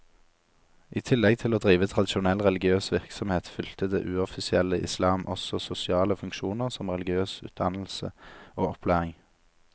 I tillegg til å drive tradisjonell religiøs virksomhet, fylte det uoffisielle islam også sosiale funksjoner som religiøs utdannelse og opplæring.